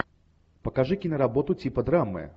покажи киноработу типа драмы